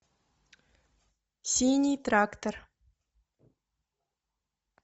синий трактор